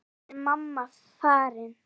Núna er mamma farin.